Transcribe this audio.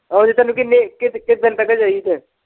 ਉੱਦਾ ਤੈਨੂੰ ਕਿੰਨੇ ਕਿੱਦ-ਕਿੱਦਣ ਤੱਕ ਚਾਹੀਦੇ ਏ।